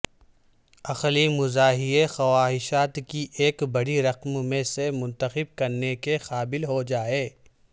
عقلی مزاحیہ خواہشات کی ایک بڑی رقم میں سے منتخب کرنے کے قابل ہو جائے